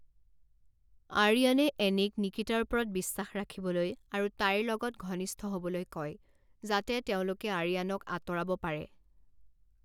আৰিয়ানে এনীক নিকিতাৰ ওপৰত বিশ্বাস ৰাখিবলৈ আৰু তাইৰ লগত ঘনিষ্ঠ হ'বলৈ কয় যাতে তেওঁলোকে আৰিয়ানক আঁতৰাব পাৰে।